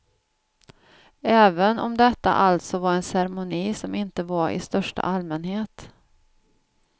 Även om detta alltså var en ceremoni som inte var i största allmänhet.